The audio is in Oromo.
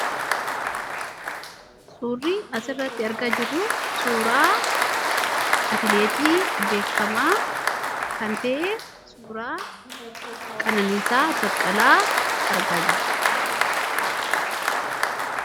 suurri as irratti arga jirru suuraa atileetii beekamaa kan ta'e suuraa Qananiisaa Baqqalaa argaa jirra.